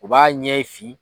U b'a ɲɛ fin.